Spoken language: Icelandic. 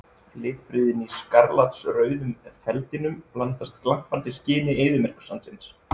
Litbrigðin í skarlatsrauðum feldinum blandast glampandi skini eyðimerkursandsins.